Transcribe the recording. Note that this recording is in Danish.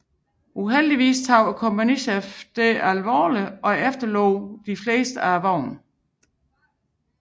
Uheldigvis tog kompagniets chef dette bogstaveligt og efterlod de fleste af vognene